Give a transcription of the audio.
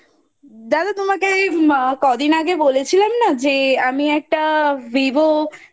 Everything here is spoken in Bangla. দাদা তোমাকে এই এম্ কদিন আগে বলেছিলাম না যে আমি একটা VIVO